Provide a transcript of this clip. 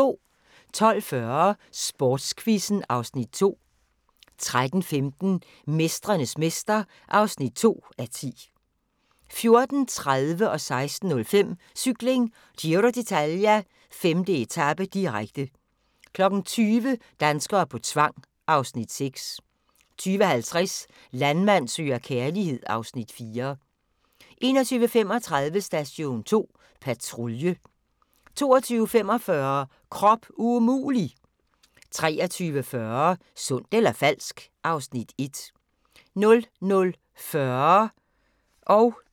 12:40: Sportsquizzen (Afs. 2) 13:15: Mestrenes mester (2:10) 14:30: Cykling: Giro d'Italia - 5. etape, direkte 16:05: Cykling: Giro d'Italia - 5. etape, direkte 20:00: Danskere på tvang (Afs. 6) 20:50: Landmand søger kærlighed (Afs. 4) 21:35: Station 2 Patrulje 22:45: Krop umulig! 23:40: Sundt eller falsk? (Afs. 1) 00:40: Grænsepatruljen